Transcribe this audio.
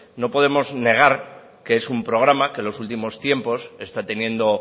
no podemos negar que es un programa que en los últimos tiempos está teniendo